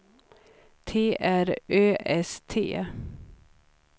T R Ö S T